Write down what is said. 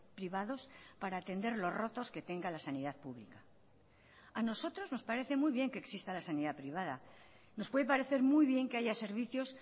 privados para atender los rotos que tenga la sanidad pública a nosotros nos parece muy bien que exista la sanidad privada nos puede parecer muy bien que haya servicios